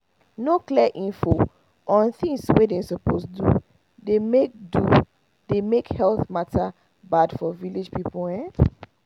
no clear info on things wey dem suppose do dey make do dey make health matter bad for village people ehn